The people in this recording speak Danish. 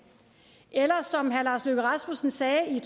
eller som herre lars løkke rasmussen sagde i